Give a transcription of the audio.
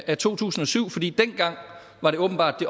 af to tusind og syv fordi dengang åbenbart